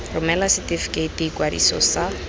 romela setefikeiti sa ikwadiso sa